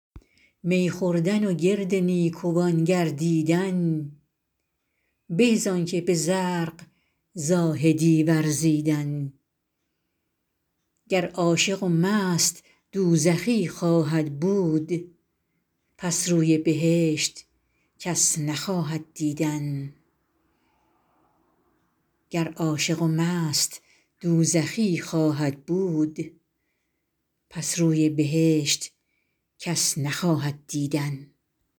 می خوردن و گرد نیکوان گردیدن به زآن که به زرق زاهدی ورزیدن گر عاشق و مست دوزخی خواهد بود پس روی بهشت کس نخواهد دیدن